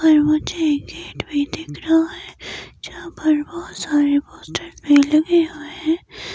और मुझे गेट भी दिख रहा है जहां पर बहोत सारे पोस्टर्स भी लगे हुए हैं।